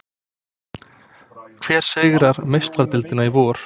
Hver sigrar Meistaradeildina í vor?